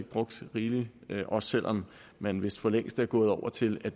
brugt rigeligt også selv om man vist for længst er gået over til at